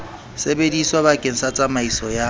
sebediswa bakeng sa tsamaiso ya